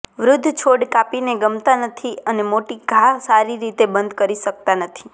વૃદ્ધ છોડ કાપીને ગમતાં નથી અને મોટી ઘા સારી રીતે બંધ કરી શકતા નથી